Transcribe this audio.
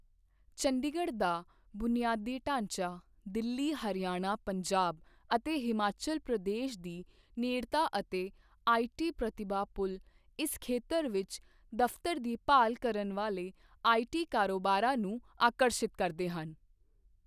ਚੰਡੀਗੜ੍ਹ ਦਾ ਬੁਨਿਆਦੀ ਢਾਂਚਾ, ਦਿੱਲੀ, ਹਰਿਆਣਾ, ਪੰਜਾਬ ਅਤੇ ਹਿਮਾਚਲ ਪ੍ਰਦੇਸ਼ ਦੀ ਨੇੜਤਾ ਅਤੇ ਆਈਟੀ ਪ੍ਰਤਿਭਾ ਪੂਲ ਇਸ ਖੇਤਰ ਵਿੱਚ ਦਫ਼ਤਰ ਦੀ ਭਾਲ ਕਰਨ ਵਾਲੇ ਆਈਟੀ ਕਾਰੋਬਾਰਾਂ ਨੂੰ ਆਕਰਸ਼ਿਤ ਕਰਦੇ ਹਨ।